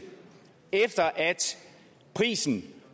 efter at prisen